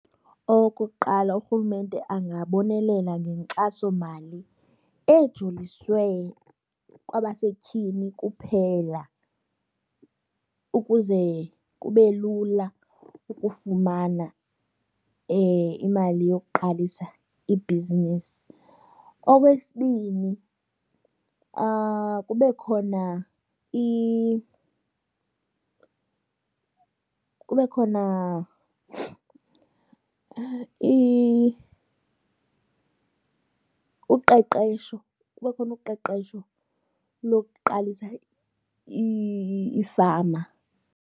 Okokuqala uRhulumente angabonelela ngenkxasomali ejoliswe kwabasetyhini kuphela ukuze kube lula ukufumana imali yokuqalisa ibhizinisi. Okwesibini kube khona kube khona uqeqesho, kube khona uqeqesho lokuqalisa iifama.